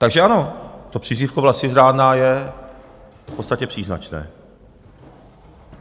Takže ano, to přízvisko "vlastizrádná" je v podstatě příznačné.